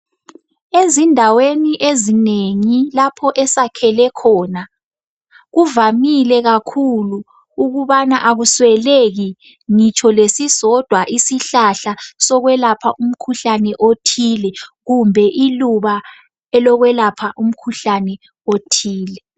Ezindaweni ezinengi lapho esakhele khona kuvamile kakhulu ukubana akusweleki ngitsho lesisodwa isihlahla sokwelapha umkhuhlane othile kumbe iluba elokwelapha umkhuhlani othile.